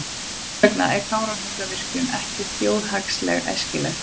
Þess vegna er Kárahnjúkavirkjun ekki þjóðhagslega æskileg.